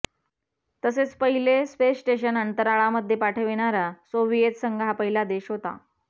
तसेच पहिले space station अंतराळामध्ये पाठविणारा सोव्हियेत संघ हा पहिला देश होता